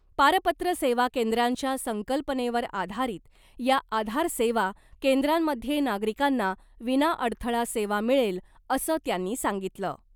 पारपत्र सेवा केंद्रांच्या संकल्पनेवर आधारीत या आधार सेवा केंद्रांमध्ये नागरिकांना विनाअडथळा सेवा मिळेल , असं त्यांनी सांगितलं .